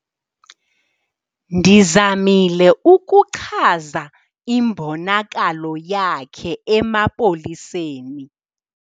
Ndizamile ukuchaza imbonakalo yakhe emapoliseni.